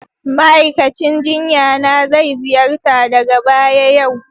Ma'aikacin jinya na zai ziyarta daga baya yau